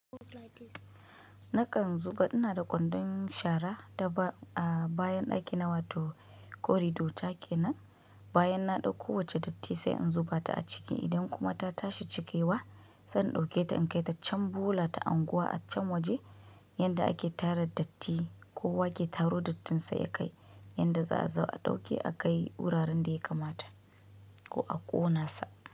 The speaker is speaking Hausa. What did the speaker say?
Nakan zuba ina da kwandon shara daga bayan ɗaki na wato corridor take nan. Bayan na ɗauko wacce datti sai in zuba ta a ciki idan kuma ta tashi cikewa zan ɗauke ta in kai ta can bola ta unguwa a can waje yanda ake tara datti. Kowa ke taro dattinsa ya kai yanda za a zo a ɗauke aka yi wuraren da ya kamata ko a ƙona sa.